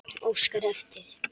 Óskari eftir.